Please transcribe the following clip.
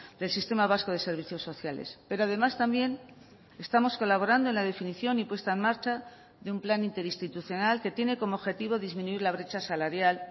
del sistema vasco de servicios sociales pero además también estamos colaborando en la definición y puesta en marcha de un plan interinstitucional que tiene como objetivo disminuir la brecha salarial